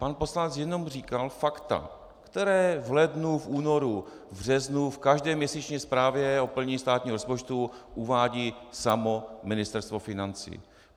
Pan poslanec jenom říkal fakta, která v lednu, v únoru, v březnu, v každé měsíční zprávě o plnění státního rozpočtu uvádí samo Ministerstvo financí.